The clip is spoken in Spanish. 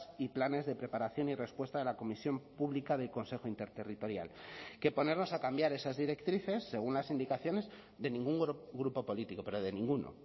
y planes de preparación y respuesta de la comisión pública del consejo interterritorial que ponernos a cambiar esas directrices según las indicaciones de ningún grupo político pero de ninguno